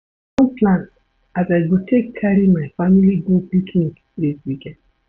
I don plan as I go take carry my family go picnic dis weekend.